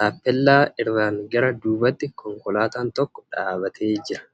Taappeellaa irraan gara duubatti konkolaataan tokko dhaabatee jira.